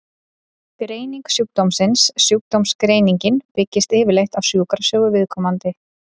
Greining sjúkdómsins Sjúkdómsgreiningin byggist yfirleitt á sjúkrasögu viðkomandi.